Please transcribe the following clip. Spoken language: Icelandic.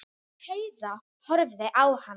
Heiða horfði á hana.